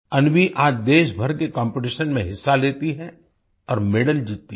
अन्वी आज देशभर के कॉम्पिटिशंस में हिस्सा लेती है और मेडल जीतती है